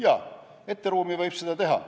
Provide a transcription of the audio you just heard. Jaa, ette ruumi võib selle panna.